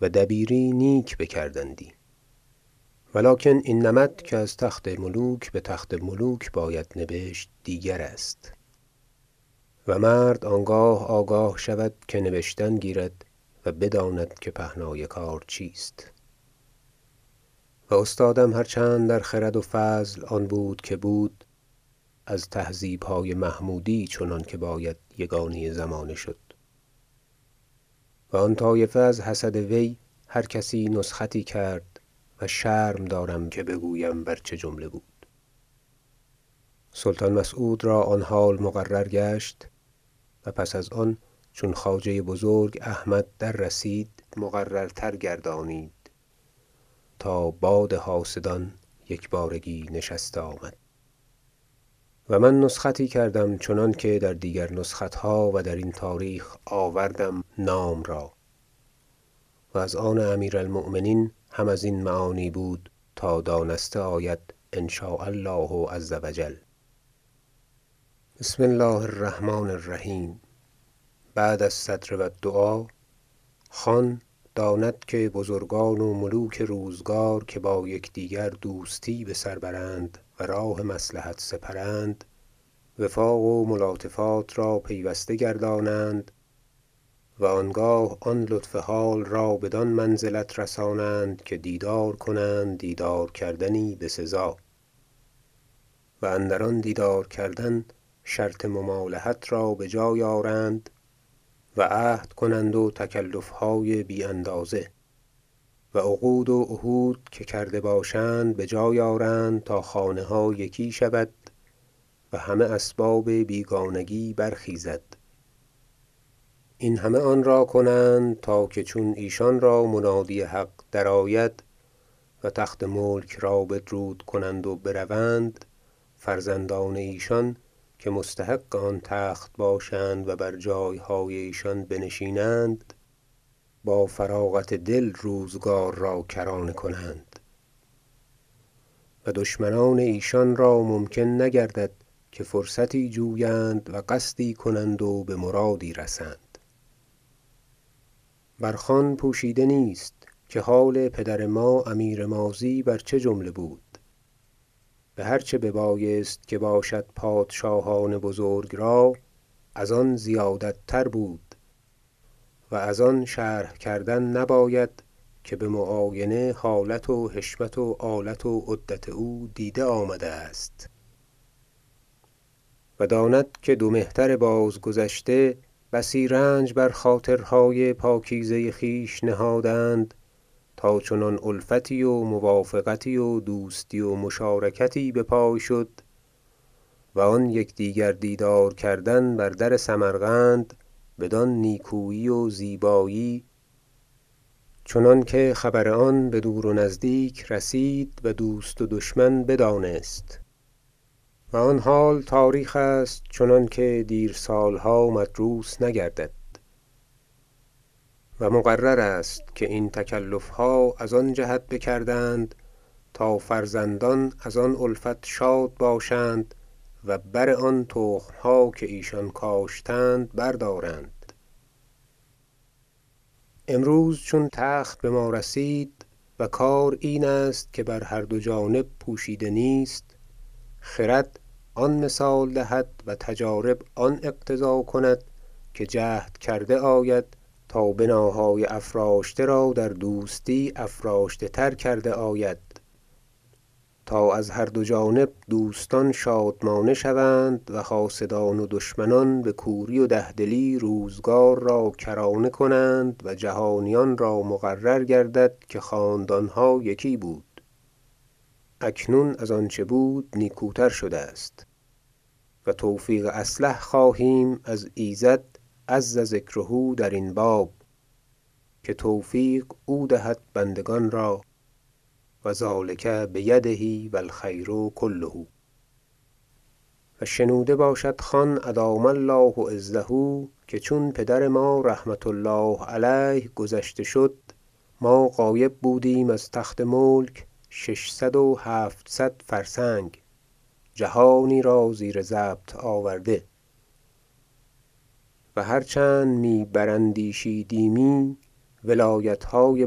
و دبیری نیک بکردندی ولیکن این نمط که از تخت ملوک به تخت ملوک باید نبشت دیگرست و مرد آنگاه آگاه شود که نبشتن گیرد و بداند که پهنای کار چیست و استادم هر چند در خرد و فضل آن بود که بود از تهذیب های محمودی چنانکه باید یگانه زمانه شد و آن طایفه از حسد وی هرکسی نسختی کرد و شرم دارم که بگویم بر چه جمله بود سلطان مسعود را آن حال مقرر گشت و پس از آن چون خواجه بزرگ احمد در رسید مقررتر گردانید تا باد حاسدان یکبارگی نشسته آمد و من نسختی کردم چنانکه در دیگر نسخت ها و درین تاریخ آوردم نام را و از آن امیر المؤمنین هم ازین معانی بود تا دانسته آید ان شاء الله عزوجل بسم الله الرحمن الرحیم بعد الصدر و الدعاء خان داند که بزرگان و ملوک روزگار که با یکدیگر دوستی بسر برند و راه مصلحت سپرند وفاق و ملاطفات را پیوسته گردانند و آنگاه آن لطف حال را بدان منزلت رسانند که دیدار کنند دیدار کردنی بسزا و اندر آن دیدار کردن شرط ممالحت را بجای آرند و عهد کنند و تکلف های بی اندازه و عقود و عهود که کرده باشند به جای آرند تا خانه ها یکی شود و همه اسباب بیگانگی برخیزد این همه آن را کنند تا که چون ایشان را منادی حق درآید و تخت ملک را بدرود کنند و بروند فرزندان ایشان که مستحق آن تخت باشند و بر جایهای ایشان بنشینند با فراغت دل روزگار را کرانه کنند و دشمنان ایشان را ممکن نگردد که فرصتی جویند و قصدی کنند و به مرادی رسند بر خان پوشیده نیست که حال پدر ما امیر ماضی بر چه جمله بود بهر چه ببایست که باشد پادشاهان بزرگ را از آن زیادت تر بود و از آن شرح کردن نباید که به معاینه حالت و حشمت و آلت و عدت او دیده آمده است و داند که دو مهتر باز گذشته بسی رنج بر خاطرهای پاکیزه خویش نهادند تا چنان الفتی و موافقتی و دوستی و مشارکتی بپای شد و آن یکدیگر دیدار کردن بر در سمرقند بدان نیکویی و زیبایی چنانکه خبر آن بدور و نزدیک رسید و دوست و دشمن بدانست و آن حال تاریخ است چنانکه دیر سال ها مدروس نگردد و مقرر است که این تکلف ها از آن جهت بکردند تا فرزندان از آن الفت شاد باشند و بر آن تخم ها که ایشان کاشتند بردارند امروز چون تخت بما رسید و کار این است که بر هر دو جانب پوشیده نیست خرد آن مثال دهد و تجارب آن اقتضا کند که جهد کرده آید تا بناهای افراشته را در دوستی افراشته تر کرده آید تا از هر دو جانب دوستان شادمانه شوند و حاسدان و دشمنان به کوری و ده دلی روزگار را کرانه کنند و جهانیان را مقرر گردد که خاندان ها یکی بود اکنون از آنچه بود نیکوتر شده است و توفیق اصلح خواهیم از ایزد عزذکره در این باب که توفیق او دهد بندگان را و ذلک بیده و الخیر کله و شنوده باشد خان ادام الله عزه که چون پدر ما رحمة الله علیه گذشته شد ما غایب بودیم از تخت ملک ششصدوهفتصد فرسنگ جهانی را زیر ضبط آورده و هرچند می براندیشیدیمی ولایت های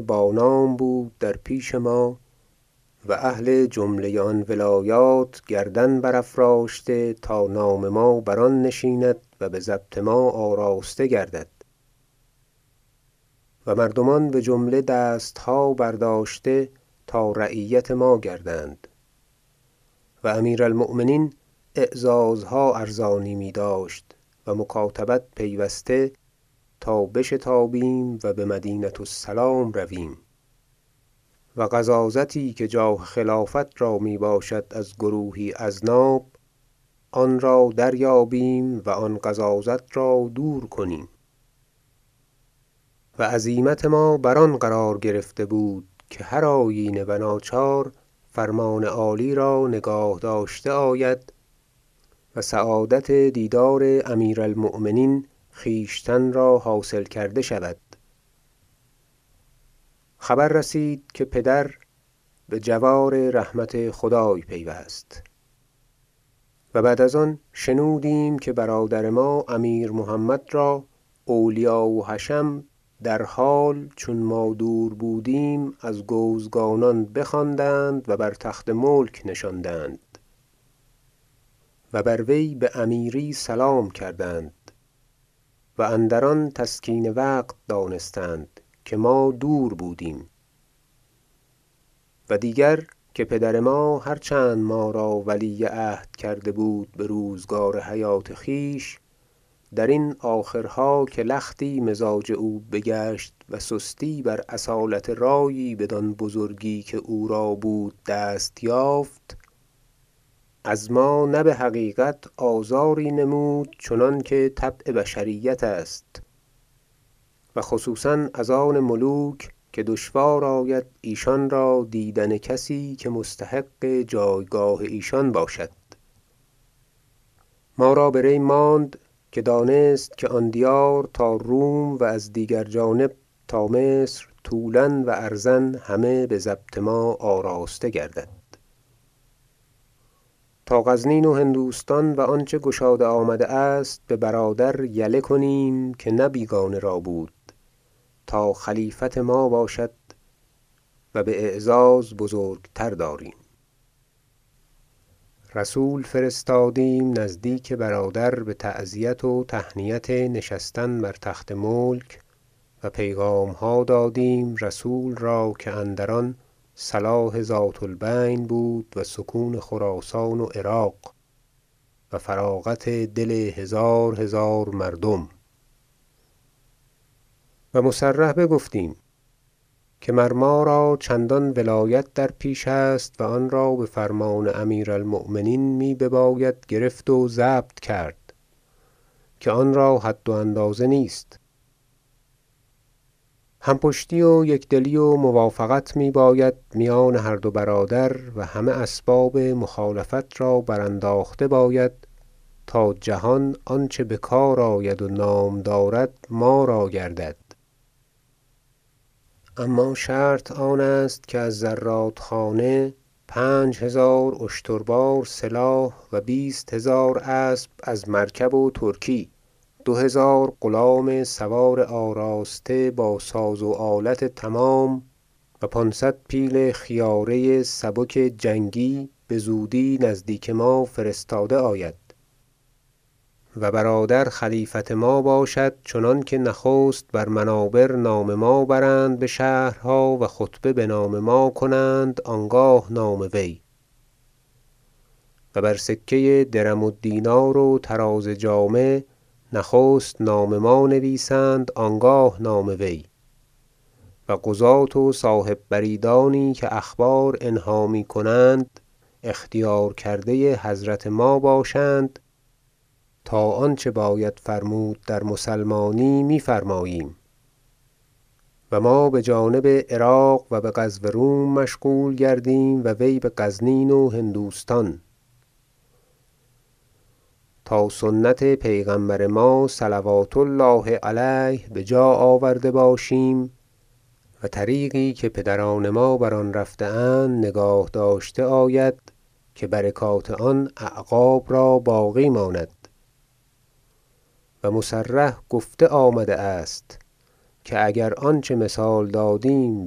بانام بود در پیش ما و اهل جمله آن ولایات گردن برافراشته تا نام ما بر آن نشیند و به ضبط ما آراسته گردد و مردمان به جمله دست ها برداشته تا رعیت ما گردند و امیر المؤمنین اعزازها ارزانی می داشت و مکاتبت پیوسته تا بشتابیم و به مدینة السلام رویم و غضاضتی که جاه خلافت را می باشد از گروهی اذناب آن را دریابیم و آن غضاضت را دور کنیم و عزیمت ما بر آن قرار گرفته بود که هرآیینه و ناچار فرمان عالی را نگاه داشته آید و سعادت دیدار امیر المؤمنین خویشتن را حاصل کرده شود خبر رسید که پدر ما به جوار رحمت خدای پیوست و بعد از آن شنودیم که برادر ما امیر محمد را اولیا و حشم در حال چون ما دور بودیم از گوزگانان بخواندند و بر تخت ملک نشاندند و بر وی به امیری سلام کردند و اندر آن تسکین وقت دانستند که ما دور بودیم و دیگر که پدر ما هرچند ما را ولی عهد کرده بود به روزگار حیات خویش درین آخرها که لختی مزاج او بگشت و سستی بر اصالت رأیی بدان بزرگی که او را بود دست یافت از ما نه به حقیقت آزاری نمود چنانکه طبع بشریت است و خصوصا از آن ملوک که دشوار آید ایشان را دیدن کسی که مستحق جایگاه ایشان باشد ما را به ری ماند که دانست که آن دیار تا روم و از دیگر جانب تا مصر طولا و عرضا همه به ضبط ما آراسته گردد تا غزنین و هندوستان و آنچه گشاده آمده است به برادر یله کنیم که نه بیگانه را بود تا خلیفت ما باشد و به اعزاز بزرگتر داریم رسول فرستادیم نزدیک برادر به تعزیت و تهنیت نشستن بر تخت ملک و پیغام ها دادیم رسول را که اندران صلاح ذات البین بود و سکون خراسان و عراق و فراغت دل هزارهزار مردم و مصرح بگفتیم که مر ما را چندان ولایت در پیش است و آن را به فرمان امیر المؤمنین می بباید گرفت و ضبط کرد که آن را حد و اندازه نیست هم پشتی و یکدلی و موافقت می باید میان هر دو برادر و همه اسباب مخالفت را برانداخته باید تا جهان آنچه بکار آید و نام دارد ما را گردد اما شرط آن است که از زراد خانه پنج هزار اشتربار سلاح و بیست هزار اسب از مرکب و ترکی دو هزار غلام سوار آراسته با سازو آلت تمام و پانصد پیل خیاره سبک جنگی بزودی نزدیک ما فرستاده آید و برادر خلیفت ما باشد چنانکه نخست بر منابر نام ما برند به شهرها و خطبه بنام ما کنند آنگاه نام وی و بر سکه درم و دینار و طراز جامه نخست نام ما نویسند آنگاه نام وی و قضاة و صاحب بریدانی که اخبار انها می کنند اختیار کرده حضرت ما باشند تا آنچه باید فرمود در مسلمانی می فرماییم و ما به جانب عراق و به غزو روم مشغول گردیم و وی به غزنین و هندوستان تا سنت پیغمبر ما صلوات الله علیه بجاآورده باشیم و طریقی که پدران ما بر آن رفته اند نگاه داشته آید که برکات آن اعقاب را باقی ماند و مصرح گفته آمده است که اگر آنچه مثال دادیم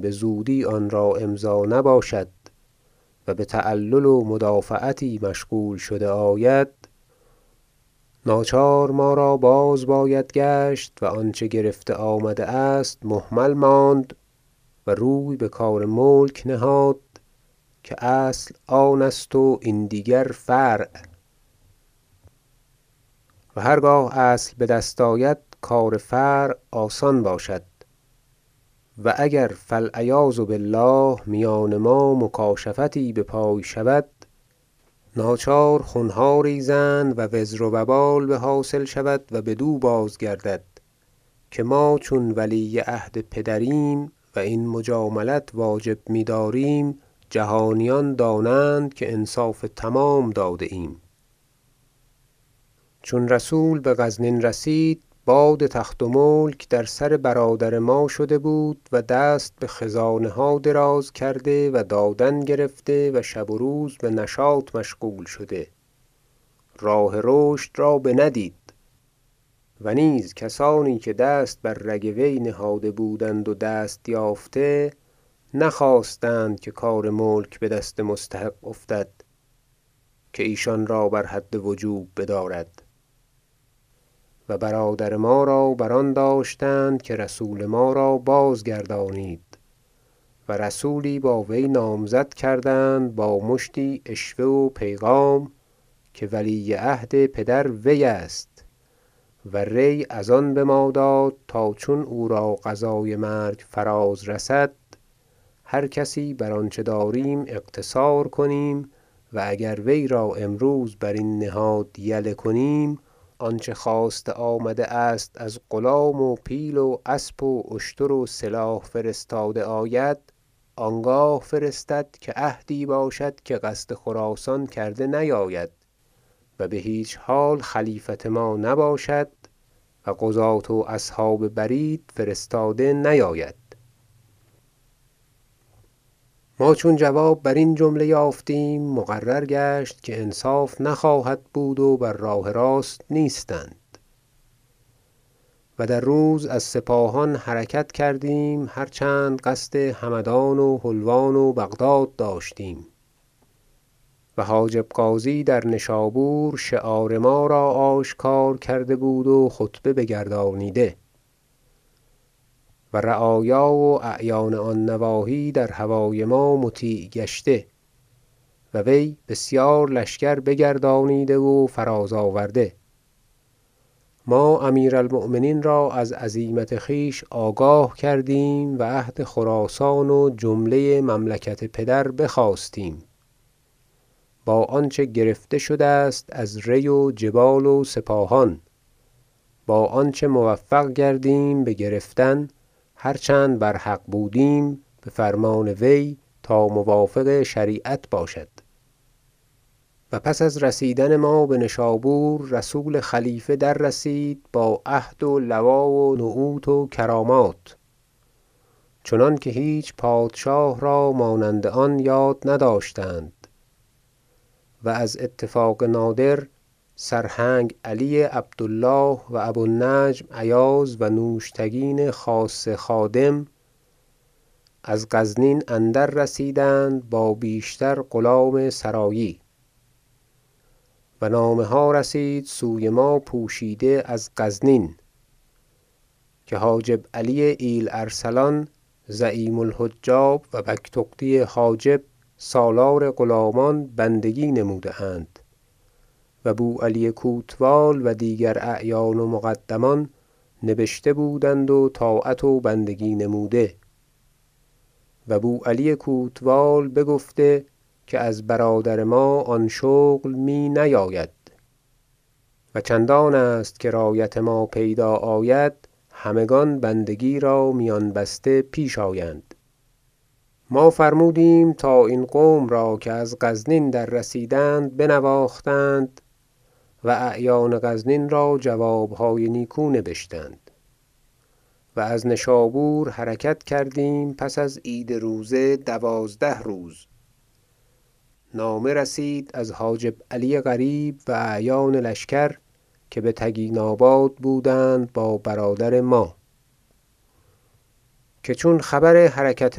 بزودی آنرا امضا نباشد و به تعلل و مدافعتی مشغول شده آید ناچار ما را باز باید گشت و آنچه گرفته آمده است مهمل ماند و روی بکار ملک نهاد که اصل آن است و این دیگر فرع و هرگاه اصل بدست آید کار فرع آسان باشد و اگر فالعیاذ بالله میان ما مکاشفتی بپای شود ناچار خون ها ریزند و وزر و وبال به حاصل شود و بدو بازگردد که ما چون ولی عهد پدریم و این مجاملت واجب می داریم جهانیان دانند که انصاف تمام داده ایم چون رسول به غرنین رسید باد تخت و ملک در سر برادر ما شده بود و دست به خزانه ها دراز کرده و دادن گرفته و شب و روز به نشاط مشغول شده راه رشد را بندید و نیز کسانی که دست بر رگ وی نهاده بودند و دست یافته نخواستند که کار ملک به دست مستحق افتد که ایشان را بر حد وجوب بدارد و برادر ما را بر آن داشتند که رسول ما را بازگردانید و رسولی با وی نامزد کردند با مشتی عشوه و پیغام که ولی عهد پدر وی است و ری از آن بما داد تا چون او را قضای مرگ فرارسد هر کسی بر آنچه داریم اقتصار کنیم و اگر وی را امروز بر این نهاد یله کنیم آنچه خواسته آمده است از غلام و پیل و اسب و اشتر و سلاح فرستاده آید آنگاه فرستد که عهدی باشد که قصد خراسان کرده نیاید و به هیچ حال خلیفت ما نباشد و قضاة و اصحاب برید فرستاده نیاید ما چون جواب برین جمله یافتیم مقرر گشت که انصاف نخواهد بود و بر راه راست نیستند و در روز از سپاهان حرکت کردیم هر چند قصد همدان و حلوان و بغداد داشتیم و حاجب غازی در نشابور شعار ما را آشکارا کرده بود و خطبه بگردانیده و رعایا و اعیان آن نواحی در هوای ما مطیع گشته و وی بسیار لشکر بگردانیده و فراز آورده ما امیر المؤمنین را از عزیمت خویش آگاه کردیم و عهد خراسان و جمله مملکت پدر بخواستیم با آنچه گرفته شده است از ری و جبال و سپاهان با آنچه موفق گردیم بگرفتن- هر چند بر حق بودیم- بفرمان وی تا موافق شریعت باشد و پس از رسیدن ما به نشابور رسول خلیفه دررسید با عهد و لوا و نعوت و کرامات چنانکه هیچ پادشاه را مانند آن یاد نداشتند و از اتفاق نادر سرهنگ علی عبد الله و ابو النجم ایاز و نوشتگین خاصه خادم از غزنین اندر رسیدند با بیشتر غلام سرایی و نامه ها رسید سوی ما پوشیده از غزنین که حاجب علی ایل- ارسلان زعیم الحجاب و بگتغدی حاجب سالار غلامان بندگی نموده اند و بو علی کوتوال و دیگر اعیان و مقدمان نبشته بودند و طاعت و بندگی نموده و بو علی کوتوال بگفته که از برادر ما آن شغل می نیاید و چندان است که رایت ما پیدا آید همگان بندگی را میان بسته پیش آیند ما فرمودیم تا این قوم را که از غزنین دررسیدند بنواختند و اعیان غزنین را جواب های نیکو نبشتند و از نشابور حرکت کردیم پس از عید روزه دوازده روز نامه رسید از حاجب علی قریب و اعیان لشکر که به تگیناباد بودند با برادر ما که چون خبر حرکت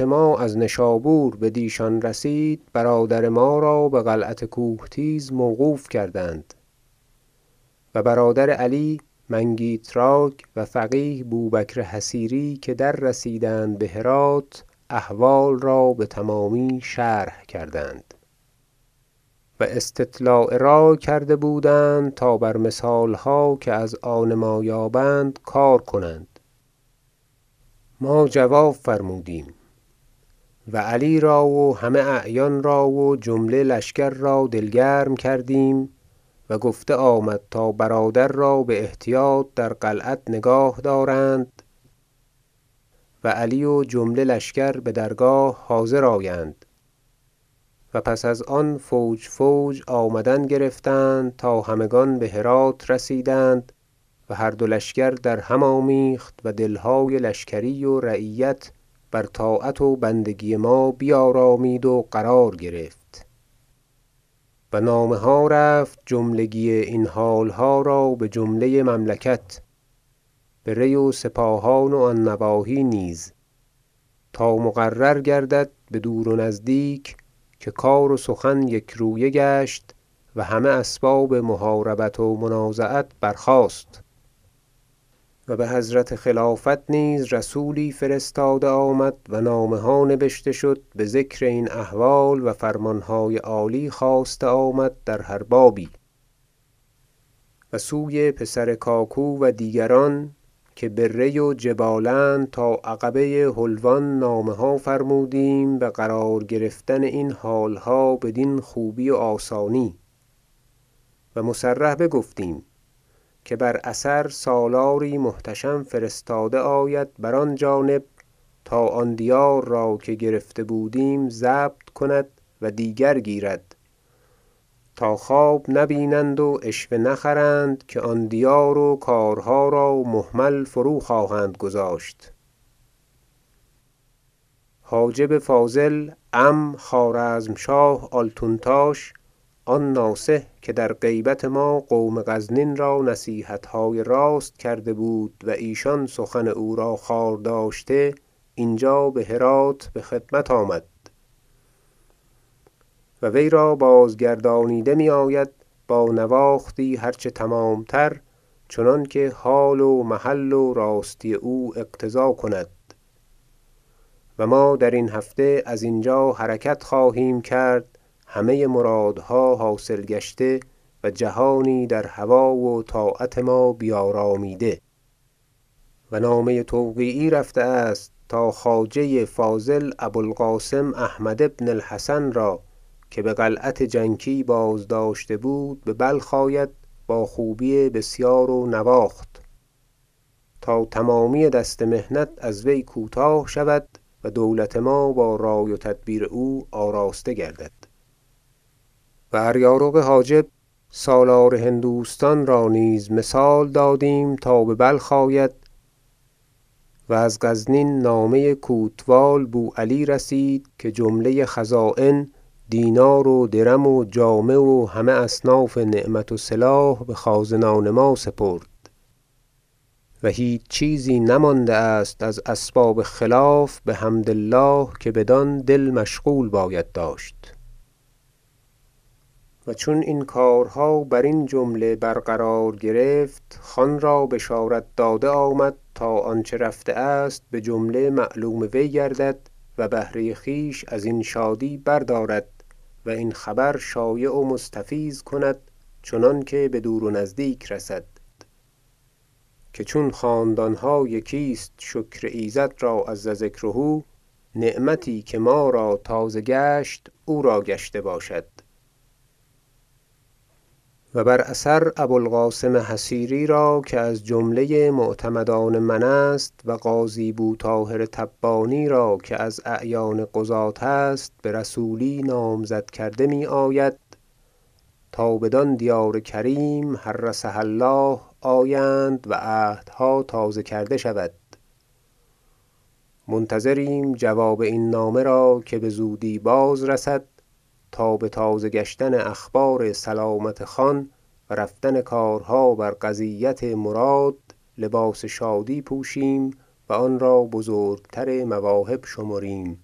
ما از نشابور بدیشان رسید برادر ما را به قلعت کوه تیز موقوف کردند و برادر علی منگیتراک و فقیه بو بکر حصیری که دررسیدند به هرات احوال را به تمامی شرح کردند و استطلاع رای کرده بودند تا بر مثال ها که از آن ما یابند کار کنند ما جواب فرمودیم و علی را و همه اعیان را و جمله لشکر را دلگرم کردیم و گفته آمد تا برادر را به احتیاط در قلعت نگاه دارند و علی و جمله لشکر به درگاه حاضر آیند و پس از آن فوج فوج آمدن گرفتند تا همگان به هرات رسیدند و هر دو لشکر درهم آمیخت و دل های لشکری و رعیت بر طاعت و بندگی ما بیارامید و قرار گرفت و نامه ها رفت جملگی این حال ها را به جمله مملکت به ری و سپاهان و آن نواحی نیز تا مقرر گردد بدور و نزدیک که کار و سخن یکرویه گشت و همه اسباب محاربت و منازعت برخاست و به حضرت خلافت نیز رسولی فرستاده آمد و نامه ها نبشته شد به ذکر این احوال و فرمان های عالی خواسته آمد در هر بابی و سوی پسر کاکو و دیگران که به ری و جبال اند تا عقبه حلوان نامه ها فرمودیم به قرار گرفتن این حال ها بدین خوبی و آسانی و مصرح بگفتیم که بر اثر سالاری محتشم فرستاده آید بر آن جانب تا آن دیار را که گرفته بودیم ضبط کند و دیگر گیرد تا خواب نبینند و عشوه نخرند که آن دیار و کارها را مهمل فروخواهند گذاشت حاجب فاضل عم خوارزمشاه آلتون تاش آن ناصح که در غیبت ما قوم غزنین را نصیحت های راست کرده بود و ایشان سخن او را خوار داشته اینجا به هرات به خدمت آمد و وی را بازگردانیده می آید با نواختی هر چه تمام تر چنانکه حال و محل و راستی او اقتضا کند و ما درین هفته از اینجا حرکت خواهیم کرد همه مرادها حاصل گشته و جهانی در هوا و طاعت ما را بیارامیده و نامه توقیعی رفته است تا خواجه فاضل ابو القاسم احمد بن الحسن را که بقلعت جنکی بازداشته بود به بلخ آید با خوبی بسیار و نواخت تا تمامی دست محنت از وی کوتاه شود و دولت ما با رای و تدبیر او آراسته گردد و اریارق حاجب سالار هندوستان را نیز مثال دادیم تا به بلخ آید و از غزنین نامه کوتوال بو علی رسید که جمله خزاین دینار و درم و جامه و همه اصناف نعمت و سلاح به خازنان ما سپرد و هیچ چیزی نمانده است از اسباب خلاف بحمد الله که بدان دل مشغول باید داشت و چون این کارها برین جمله قرار گرفت خان را بشارت داده آمد تا آنچه رفته است به جمله معلوم وی گردد و بهره خویش ازین شادی بردارد و این خبر شایع و مستفیض کند چنانکه بدور و نزدیک رسد که چون خاندان ها یکی است- شکر ایزد را عزذکره- نعمتی که ما را تازه گشت او را گشته باشد و بر اثر ابو القاسم حصیری را که از جمله معتمدان من است و قاضی بو طاهر تبانی را که از اعیان قضاة است به رسولی نامزده کرده می آید تا بدان دیار کریم حرسها الله آیند و عهدها تازه کرده شود منتظریم جواب این نامه را که بزودی باز رسد تا به تازه گشتن اخبار سلامت خان و رفتن کارها بر قضیت مراد لباس شادی پوشیم و آن را از بزرگتر مواهب شمریم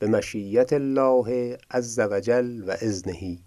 بمشیة الله عزوجل و اذنه